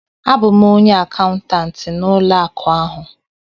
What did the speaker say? A bụ m onye akaụntantị n'ụlọ akụ ahụ